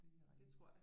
Det tror jeg